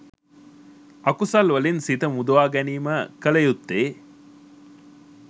අකුසල් වලින් සිත මුදවා ගැනීම කළ යුත්තේ